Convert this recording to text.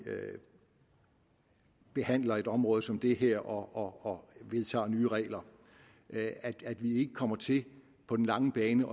behandler et område som det her og vedtager nye regler at at vi ikke kommer til på den lange bane